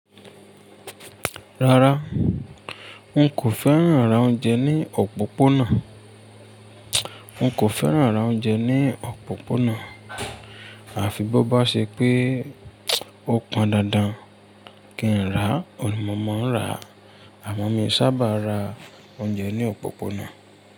Rárá, n kò fẹ́ran rà oúnjẹ ní òpópónà, n kò fẹ́ran rà oúnjẹ ní òpópónà, àfi bó bá ṣe pé o pọn dandan kí n rà, oun ni mò mo ń rà, àmọ mii sábà ra oúnjẹ ní òpópónà.